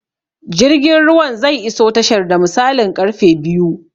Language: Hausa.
Jirgin ruwan zai iso tashar da misalin karfe biyu